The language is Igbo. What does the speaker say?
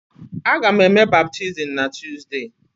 Aga m eme baptizim na Tuzdee.